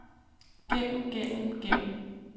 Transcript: gennem gennem gennem